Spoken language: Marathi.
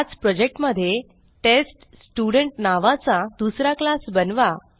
त्याच प्रोजेक्ट मध्ये टेस्टस्टुडंट नावाचा दुसरा क्लास बनवा